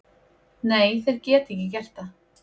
Nei, þeir geta ekki gert það.